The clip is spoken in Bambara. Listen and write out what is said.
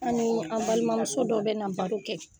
An ni an balimamuso dɔ bɛna baro kɛ.